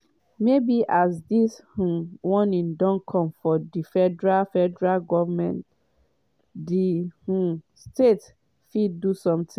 “maybe as dis um warning don come from di federal federal goment di um state fit do sometin.”